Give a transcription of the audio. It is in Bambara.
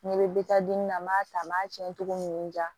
N'i bɛ di na n m'a ta n b'a tiɲɛ cogo min n diya